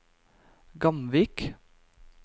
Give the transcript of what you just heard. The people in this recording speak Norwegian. Gamvik